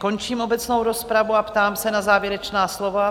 Končím obecnou rozpravu a ptám se na závěrečná slova.